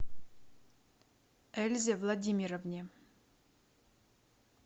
эльзе владимировне